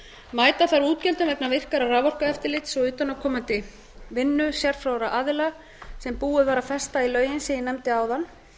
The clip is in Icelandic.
mæta þarf útgjöldum vegna virkara raforkueftirlits og utanaðkomandi vinnu sérfróðra aðila sem búið var að festa í lögin sem ég nefndi áðan